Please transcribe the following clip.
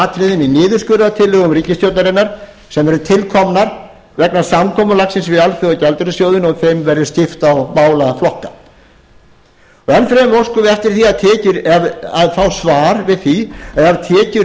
í niðurskurðartillögum ríkisstjórnarinnar sem eru tilkomnar vegna samkomulagsins við alþjóðagjaldeyrissjóðinn og þeim verði skipt á málaflokka enn fremur óskum við eftir að fá svar við því að ef tekjur